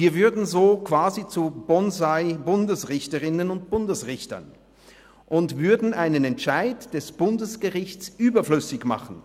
Wir würden so quasi zu BonsaiBundesrichterinnen und -Bundesrichtern und würden einen Entscheid des Bundesgerichts überflüssig machen.